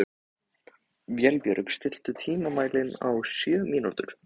Vébjörg, stilltu tímamælinn á sjö mínútur.